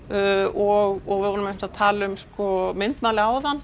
og við vorum einmitt að tala um myndmálið áðan